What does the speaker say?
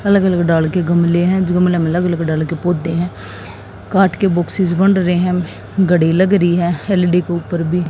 अलग अलग के गमले हैं पौधे हैं। काट के बॉक्स बन रहे हैं। घड़ी लग रही है एल_ई_डी के ऊपर भी--